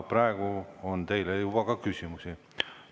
Praegu on teile juba ka küsimusi.